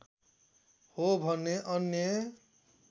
हो भने अन्य